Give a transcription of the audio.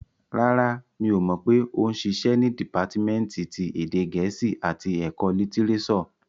Rárá, mi ò pé ó ń ṣiṣẹ́ ní dìpátímẹ́ǹtì ti èdè gẹ̀ẹ́sì àti ẹ̀kọ́ litirẹ́sọ̀